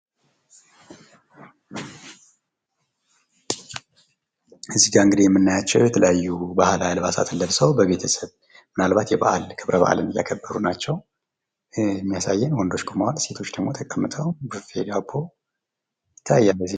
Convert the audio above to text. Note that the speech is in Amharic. እዚህ ጋር እንግዲህ የምናያቸው የተለያዩ ባህላዊ አልባሳትን ለብሰው ምናልባት የቤተሰብ የበአል ክብረበአል እያከበሩ ናቸው። የሚያሳየው ሴቶች ተቀምጠዋል ወንዶች ደግሞ ቁመዋል ቡፌ ዳቦ ይታያል።